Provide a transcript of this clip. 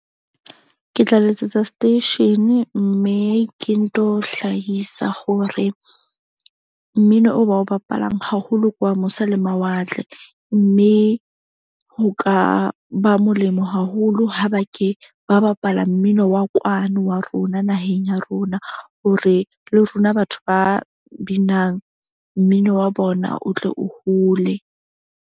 Ke tla letsetsa station-e mme ke nto hlahisa hore mmino o ba o bapalang haholo ke wa mose le mawatle. Mme ho ka ba molemo haholo ha ba ke ba bapala mmino wa kwano wa rona naheng ya rona, hore le rona batho ba binang mmino wa bona o tle o hole.